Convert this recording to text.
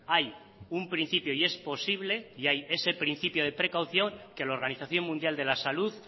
hay un principio y es posible y hay ese principio de precaución que la organización mundial de la salud